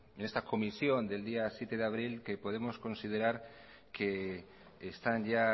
en esta comisión del día siete de abril que podemos considerar que están ya